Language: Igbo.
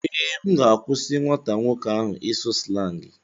Ee, M ga-akwụsị nwata nwoke ahụ ịsụ slangị.